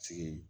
Sigi